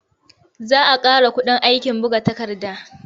Za a ƙara kuɗin aikin buga takarda.